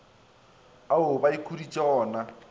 ao ba ikhuditšego go na